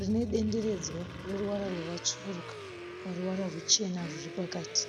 Rine dendenedzwa rine ruvara rwakatsvukuruka paruvara ruchena rwuri pakati.